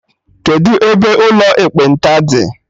Kedụ ebe ụlọ ekpenta dị?